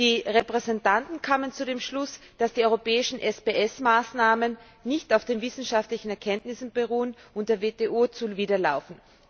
Die Repräsentanten kamen zu dem Schluss, dass die europäischen SPS Maßnahmen nicht auf den wissenschaftlichen Erkenntnissen beruhen und der WTO zuwiderlaufen.